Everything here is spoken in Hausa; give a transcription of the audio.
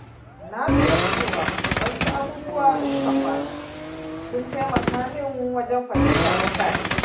Na lura cewa wasu abubuwa da suka faru sun taimaka min wajen fahimtar mutane.